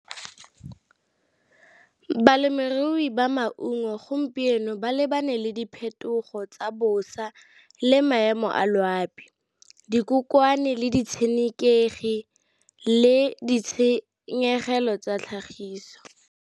Balemirui ba maungo gompieno ba lebane le diphetogo tsa bosa le maemo a loapi, dikokomane, le di tshenekegi, le ditshenyegelo tsa tlhagiso.